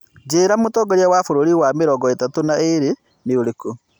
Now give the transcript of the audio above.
njĩira mũtongoria wa bũrũri wa mĩrongo ĩtatũ na ĩri nĩ ũrikũ